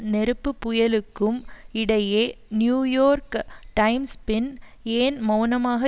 நெருப்புப்புயலுக்கும் இடையே New York Times பின் ஏன் மெளனமாக